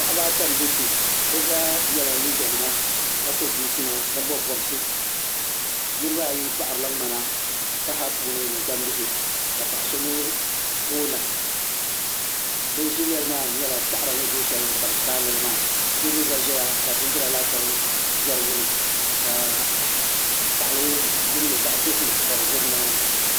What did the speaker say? paɣaba ata n be kpɛ be zaa yɛla liga nima ka so chinchina ka bobi bobisi niriba ayi paɣarila mŋana taba puuni ni gbambihi ka paɣaso mi koona bi zileli maa nyɛla saɣari ni zoo shɛli ka bi kaani li maa teebuli gba zia ka bindira laasabu ʒɛ di gbuni ka gaɣali din nyɛ zaɣa dozim ka di do nimaani.